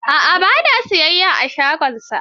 A'a ba na yin siyayya a shagonsa.